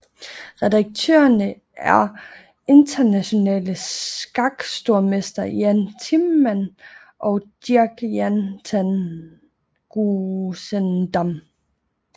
Redaktørerne er de internationale skakstormestre Jan Timman og Dirk Jan ten Geuzendam